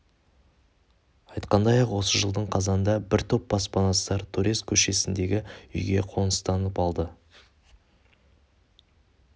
айтқандай-ақ осы жылдың қазанында бір топ баспанасыздар торез көшесіндегі үйге қоныстанып алды